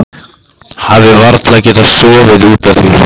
Hafi varla getað sofið út af því.